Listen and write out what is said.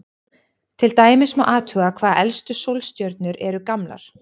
Til dæmis má athuga hvað elstu sólstjörnur eru gamlar.